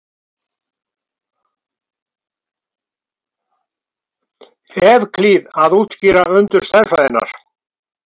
evklíð að útskýra undur stærðfræðinnar